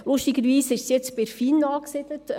Lustigerweise ist das jetzt bei der FIN angesiedelt.